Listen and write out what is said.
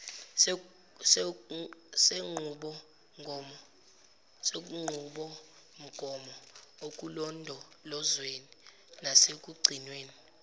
senqubomgomo ekulondolozweni nasekugcinweni